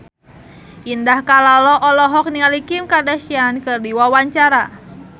Indah Kalalo olohok ningali Kim Kardashian keur diwawancara